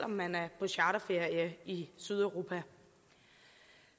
man er på charterferie i sydeuropa